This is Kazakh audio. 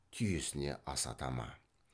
түйесіне асата ма